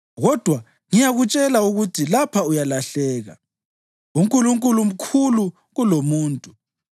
Kodwa ngiyakutshela ukuthi lapha uyalahleka, uNkulunkulu mkhulu kulomuntu.